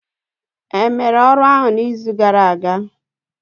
Emere ọrụ ahụ n'izu gara aga?